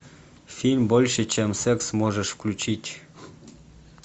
фильм больше чем секс можешь включить